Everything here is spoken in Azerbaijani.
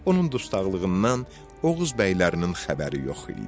Onun dustaqlığından Oğuz bəylərinin xəbəri yox idi.